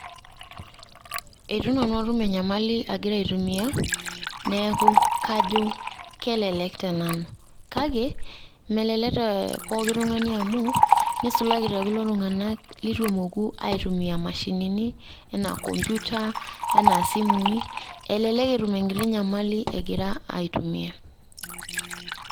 Eitu nanu atum enyamali agira aitumia, neeku kajo kelelek tenanu. Kake melelek te pooki tung'ani amu, neisulaki te kulo tung'anak leitu emoku aitumia imashinini enaa computer ,enaa isimui, elelek etum enkiti nyamali egira aitumia.